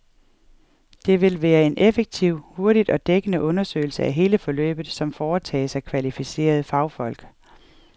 Det vil være en effektiv, hurtig og dækkende undersøgelse af hele forløbet, som foretages af kvalificerede fagfolk.